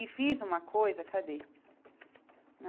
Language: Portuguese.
E fiz uma coisa... Cadê?